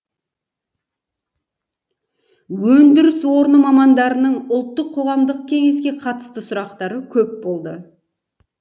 өндіріс орны мамандарының ұлттық қоғамдық кеңеске қатысты сұрақтары көп болды